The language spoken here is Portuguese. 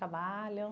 Trabalham?